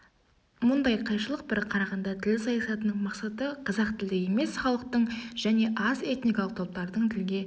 мұндай қайшылық бір қарағанда тіл саясатының мақсаты қазақ тілді емес халықтың және аз эникалық топтардың тілге